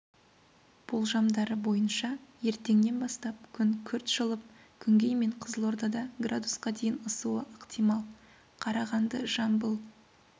болжамдары бойынша ертеңнен бастап күн күрт жылып күнгей мен қызылордада градусқа дейін ысуы ықтимал қарағанды жамбыл